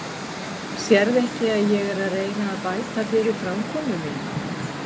Sérðu ekki að ég er að reyna að bæta fyrir framkomu mína?